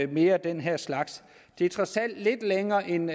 mere af den her slags det er trods alt lidt længere end